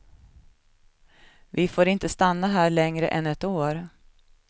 Vi får inte stanna här längre än ett år.